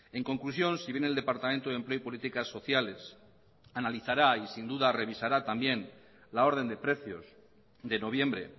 en conclusión si bien el departamento de empleo y políticas sociales analizará y sin duda revisará también la orden de precios de noviembre